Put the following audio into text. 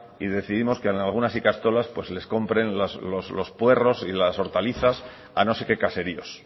y decidimos que en algunas ikastolas pues les compren los puerros y las hortalizas a no sé qué caseríos